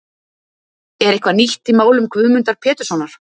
Er eitthvað nýtt í málum Guðmundar Péturssonar?